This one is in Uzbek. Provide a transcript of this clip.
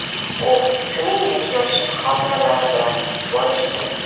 U shuningdek yoshlik xotiralari bilan bo‘lishdi.